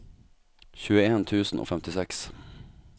tjueen tusen og femtiseks